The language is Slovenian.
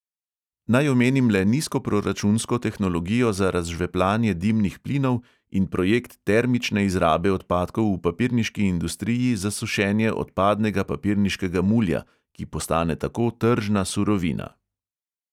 Naj omenim le nizkoproračunsko tehnologijo za razžveplanje dimnih plinov in projekt termične izrabe odpadkov v papirniški industriji za sušenje odpadnega papirniškega mulja, ki postane tako tržna surovina.